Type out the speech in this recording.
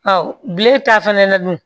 bilen ta fana na dun